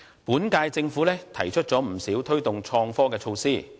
本屆政府提出不少推動創科的措施。